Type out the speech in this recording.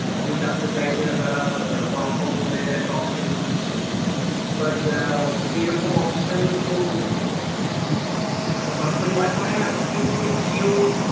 office আসতে চাইছে না তারা work from home এর একটা option খুঁজছে but সেরকম option তো এখন চটকরে পায় তবে হ্যাঁ তুমি একটু ওই JIO